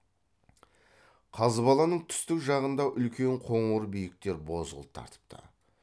қазбаланың түстік жағындағы үлкен қоңыр биіктер бозғыл тартыпты